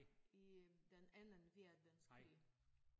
I øh den Anden Verdenskrig